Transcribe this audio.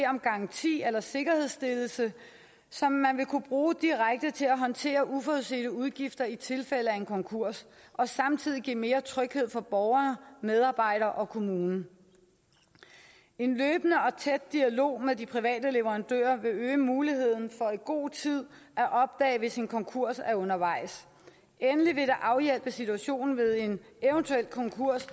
om garanti eller sikkerhedsstillelse som man vil kunne bruge direkte til at håndtere uforudsete udgifter i tilfælde af en konkurs og samtidig give mere tryghed for borgere medarbejdere og kommune en løbende og tæt dialog med de private leverandører vil øge muligheden for i god tid at opdage hvis en konkurs er undervejs endelig vil det afhjælpe situationen ved en eventuel konkurs